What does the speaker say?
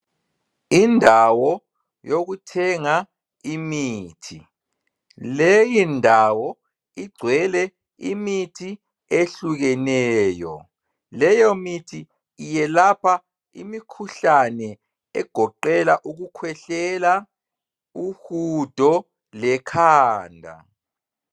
Indawo yokuthenga imithi, leyindawo igcwele imithi ehlukeneyo. Leyomithi iyelapha imikhuhlane egoqela ukukhwehlela, uhudo lekhanda.